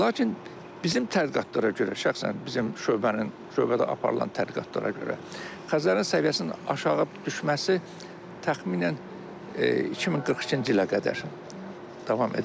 Lakin bizim tədqiqatlara görə, şəxsən bizim şöbənin şöbədə aparılan tədqiqatlara görə Xəzərin səviyyəsinin aşağı düşməsi təxminən 2042-ci ilə qədər davam edəcək.